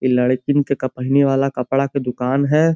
इ लडकिन के क पहीने वाला कपडा के दुकान है।